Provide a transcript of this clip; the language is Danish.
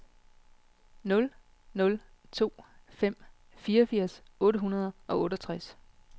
nul nul to fem fireogfirs otte hundrede og otteogtres